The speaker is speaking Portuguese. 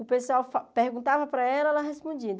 O pessoal fa perguntava para ela e ela respondia.